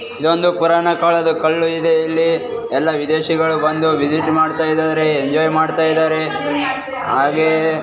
ಇದೊಂದು ಪುರಾಣ ಕಾಲದ ಕಲ್ಲು ಇದೆ ಇಲ್ಲಿ ಎಲ್ಲ ವಿದೇಶಿಗಳು ಬಂದು ವಿಸಿಟ್ ಮಾಡ್ತಾ ಇದಾರೆ ಎಂಜೋಯ್ ಮಾಡ್ತಾ ಇದಾರೆ ಹಾಗೆ --